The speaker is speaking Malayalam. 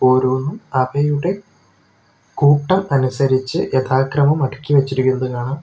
ഓരോന്നും അവയുടെ കൂട്ടം അനുസരിച്ച് യഥാക്രമം അടുക്കി വെച്ചിരിക്കുന്നത് കാണാം.